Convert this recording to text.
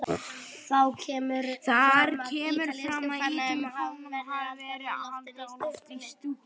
Þar kemur fram að ítalska fánanum hafi verið haldið á lofti í stúkunni.